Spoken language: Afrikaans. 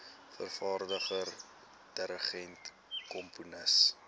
vervaardiger dirigent komponis